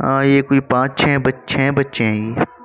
अ ये कोई पांच छः- छः बच्चे है ये।